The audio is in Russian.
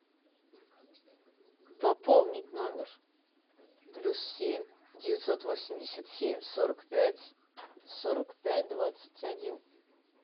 пополнить номер плюс семь девятьсот восемьдесят семь сорок пять сорок пять двадцать один